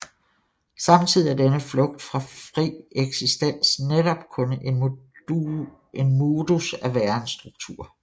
Samtidig er denne flugt fra fri eksistens netop kun en modus af værensstruktur